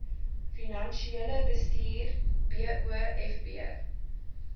finansiële bestuur wofb